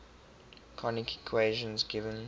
conic equation given